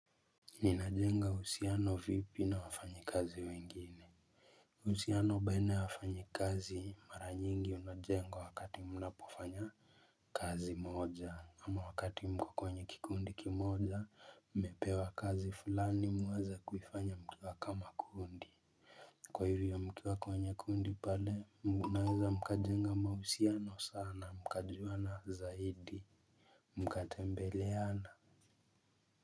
Nina jenga uhusiano vipi na wafanyi kazi wengine. Uhusiano baina ya wafanyi kazi mara nyingi unajengwa wakati mnapofanya kazi moja ama wakati mko kwenyu kikundi kimoja mmepewa kazi fulani muweze kuifanya mkiwa kama kundi. Kwa hivyo mkiwa kwenye kundi pale mnaweza mkajenga mahusiano sana mkajuwa na zaidi. Mkatembeleana.